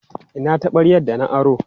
Ina taɓaryar da na aro?